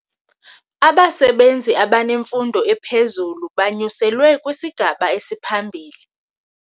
Abasebenzi abanemfundo ephezulu banyuselwe kwisigaba esiphambili.